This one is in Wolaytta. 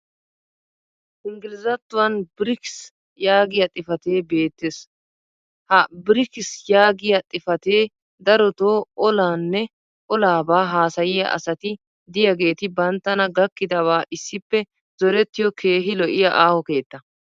Engglizzattuwan "brics" yaagiya xifatee beetees. ha biriikiis yaagiya xifatee darotoo olaaanne olaabaa haasayiya asati diyaageeti banttana gakkidabaa issippe zorettiyo keehi lo'iya aaho keettaa.